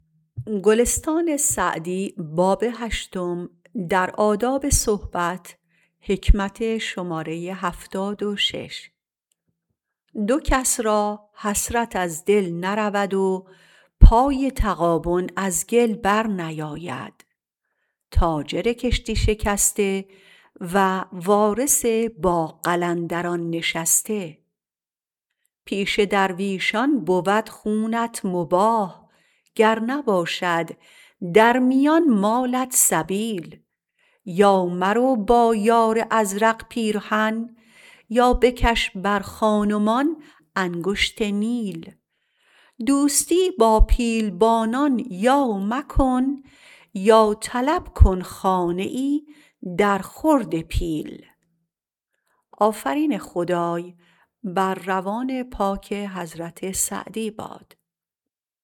دو کس را حسرت از دل نرود و پای تغابن از گل بر نیاید تاجر کشتی شکسته و وارث با قلندران نشسته پیش درویشان بود خونت مباح گر نباشد در میان مالت سبیل یا مرو با یار ازرق پیرهن یا بکش بر خان و مان انگشت نیل دوستی با پیلبانان یا مکن یا طلب کن خانه ای در خورد پیل